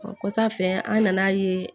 O kɔsa in an nana ye